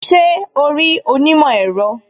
Ṣé o rí onímọ̀ èro